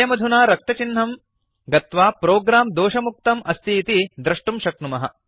वयमधुना रक्तचिह्नं गत्वा प्रोग्राम् दोषमुक्तम् अस्तीति दृष्टुं शक्नुमः